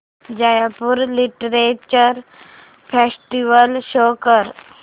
Jaipur literature festival show कर